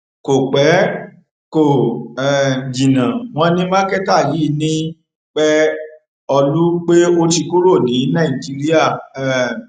kò pẹ kò um jìnnà wọn ní mákẹtà yìí ní pẹọlù pé ó ti kúrò ní nàìjíríà um